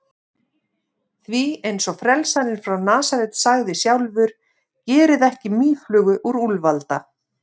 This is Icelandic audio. Því, eins og frelsarinn frá Nasaret sagði sjálfur: Gerið ekki mýflugu úr úlfalda.